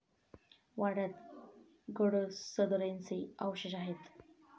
वाड्यात गडसदरेंचे अवशेष आहेत.